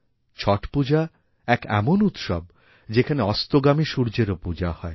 ছট পূজা এক এমন উৎসব যেখানে অস্তগামী সূর্যেরও পূজা হয়